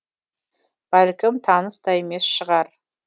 бәлкім таныс та емес шығар